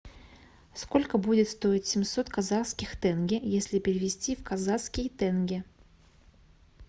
сколько будет стоить семьсот казахских тенге если перевести в казахский тенге